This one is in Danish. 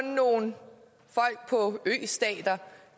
nogle østater